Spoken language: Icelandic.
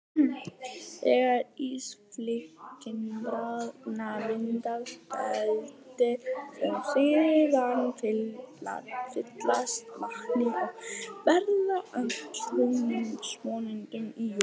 Þegar ísflikkin bráðna myndast dældir sem síðan fyllast vatni og verða að tjörnum, svonefndum jökulkerum.